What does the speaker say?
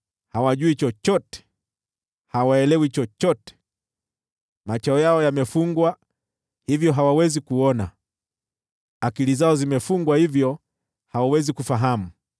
Hawajui chochote, hawaelewi chochote, macho yao yamefungwa hata hawawezi kuona, akili zao zimefungwa hata hawawezi kufahamu.